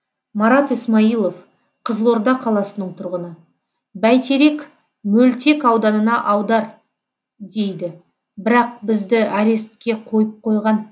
марат исмаилов қызылорда қаласының тұрғыны бәйтерек мөлтек ауданына аудар дейді бірақ бізді арестке қойып қойған